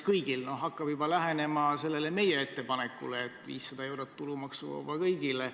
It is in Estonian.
See hakkab juba lähenema meie ettepanekule, et 500 eurot olgu tulumaksuvaba kõigile.